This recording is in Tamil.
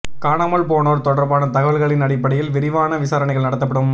காணாமல் போனோர் தொடர்பான தகவல்களின் அடிப்படையில் விரிவான விசாரணைகள் நடத்தப்படும்